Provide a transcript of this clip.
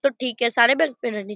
तो ठीक है सारे --